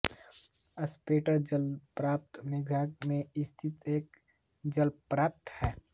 spread eagle जलप्रपात मेघालय में स्थित एक जलप्रपात है